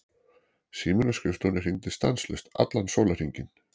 Síminn á skrifstofunni hringdi stanslaust allan sólarhringinn.